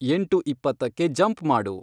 ಎಂಟು ಇಪ್ಪತ್ತಕ್ಕೆ ಜಂಪ್ ಮಾಡು